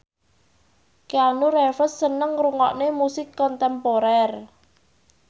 Keanu Reeves seneng ngrungokne musik kontemporer